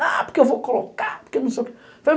Ah, porque eu vou colocar, porque não sei o quê.